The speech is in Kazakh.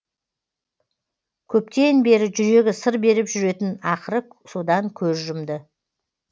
көптен бері жүрегі сыр беріп жүретін ақыры содан көз жұмды